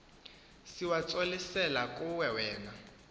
siwatsolisela kuwe wena